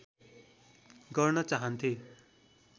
गर्न चाहन्थे